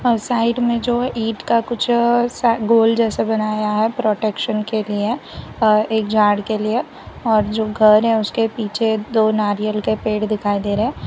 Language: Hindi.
और साइड में जो ईंट का कुछ सा गोल जैसा बनाया गया है प्रोटेक्सन के लिए और एक जार के लिए और जो घर है उसके पीछे दो नारियल का पेड़ दिखाई दे रहे हैं।